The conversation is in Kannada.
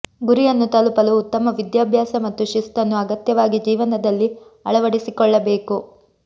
ಗುರಿಯನ್ನು ತಲುಪಲು ಉತ್ತಮ ವಿದ್ಯಾಭ್ಯಾಸ ಮತ್ತು ಶಿಸ್ತುನ್ನು ಅಗತ್ಯವಾಗಿ ಜೀವನದಲ್ಲಿ ಅಳವಡಿಸಿಕೊಳ್ಳಬೇಕು